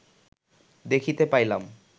দেখিতে পাইলাম